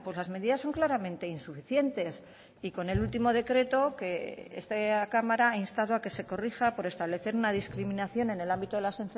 las medidas son claramente insuficientes y con el último decreto que esta cámara ha instado a que se corrija por establecer una discriminación en el ámbito de las